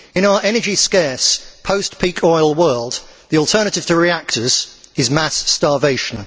In our energy scarce, post peak oil world, the alternative to reactors is mass starvation.